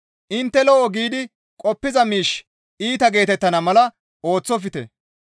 Intte lo7o giidi qoppiza miishshi iita geetettana mala ooththofte.